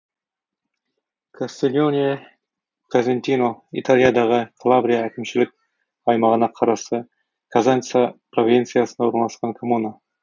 кастильоне козентино италиядағы калабрия әкімшілік аймағына қарасты козенца провинциясында орналасқан коммуна